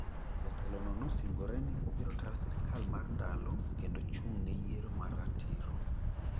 Jatelono neosingre ni obiro tayo sirkal mar ndalo kendo chung neyiero mar ratiro.